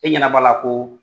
E ɲɛnaba la ko